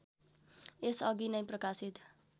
यसअघि नै प्रकाशित